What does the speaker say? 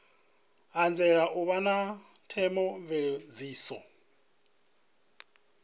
anzela u vha na theomveledziso